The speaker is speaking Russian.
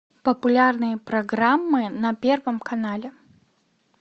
популярные программы на первом канале